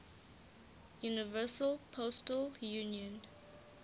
universal postal union